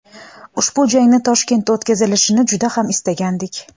Ushbu jangning Toshkentda o‘tkazilishini juda ham istagandik.